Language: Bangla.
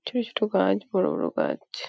ছোট গাছ বড় বড় গাছ ।